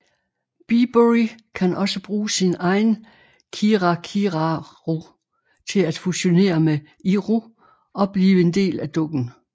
Bibury kan også bruge sin egen kirakiraru til at fusionere med Iru og blive en del af dukken